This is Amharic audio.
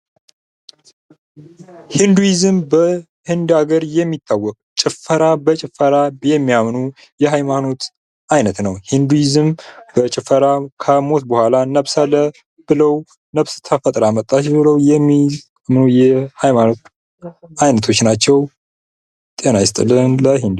ሂንዱይዝም በህንድ አገር የሚታወቅ ጭፈራ በጭፈራ የሚያምኑ የሀይማኖት አይነት ነዉ። ሂንዱይዝም በጭፈራ ከሞት በኋላ ነፍስ ተፈጥራ መጣች በለዉ የሚያምኑ ሀይማኖት አይነቶች ነዉ።